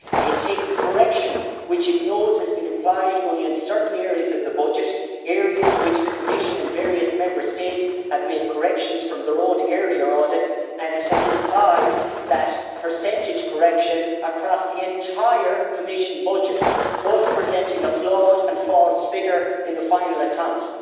It takes a correction, which it knows has been applied only in certain areas of the budget, areas where the Commission and various Member States had made corrections from their own earlier audits, and it applies that percentage correction across the entire Commission budget, thus presenting a flawed and false figure in the final accounts.